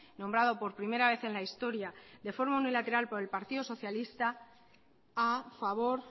nombrado por primera vez en la historia de forma unilateral por el partido socialista a favor